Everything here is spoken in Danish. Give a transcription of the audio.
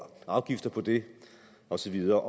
og afgifter på det og så videre